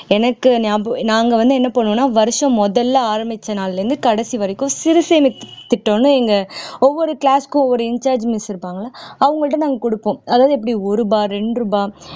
எனக்கு ஞாப நாங்க வந்து என்ன பண்ணுவோம்னா வருஷம் முதல்ல ஆரம்பிச்ச நாள்ல இருந்து கடைசி வரைக்கும் சிறுசேமிப்பு திட்டம்னு எங்க ஒவ்வொரு class க்கும் ஒவ்வொரு in charge miss இருப்பாங்கள்ல அவங்கள்ட்ட நாங்க கொடுப்போம் அதாவது எப்படி ஒரு ரூபா ரெண்டு ரூபா